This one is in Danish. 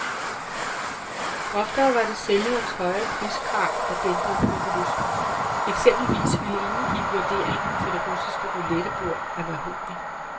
Oftere var det sælgerens høje priskrav, der dæmpede købelysten, eksempelvis ville ingen give vurderingen for det russiske roulettebord af mahogni.